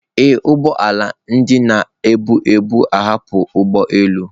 Ee, ụgbọ ala ndị na-ebu ebu ahapụla ụgbọ elu